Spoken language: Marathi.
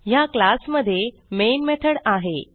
ह्या क्लास मध्ये मेन मेथड आहे